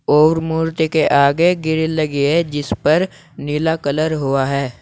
और मूर्ति के आगे ग्रिल लगी है जिस पर नीला कलर हुआ है।